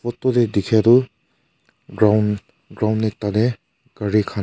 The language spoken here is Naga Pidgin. phot tae dikhae tu ground ground ekta tae gari khan--